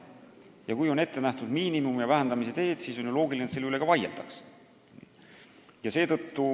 Ja kui on ette nähtud miinimum ja selle vähendamise teed, siis on ju loogiline, et selle üle ka vaieldakse.